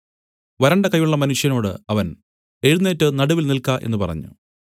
വരണ്ട കയ്യുള്ള മനുഷ്യനോടു അവൻ എഴുന്നേറ്റ് നടുവിൽ നില്ക്ക എന്നു പറഞ്ഞു